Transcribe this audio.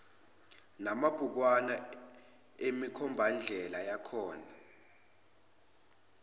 namabhukwana emikhombandlela yakhona